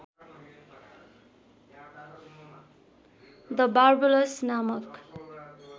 the Warblers नामक